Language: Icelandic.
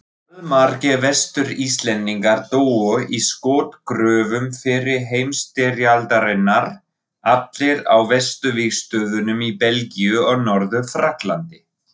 Allmargir Vestur-Íslendingar dóu í skotgröfum fyrri heimsstyrjaldarinnar, allir á vesturvígstöðvunum í Belgíu og Norður-Frakklandi.